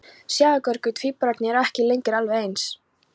Sjáðu Gaukur, tvíburarnir eru ekki lengur alveg eins.